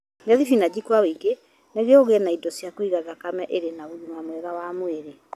Rĩa thibinaji kwa ũingĩ nĩguo ũgĩe na indo cia kũiga thakame ĩrĩ na ũgima mwega wa mwĩrĩ.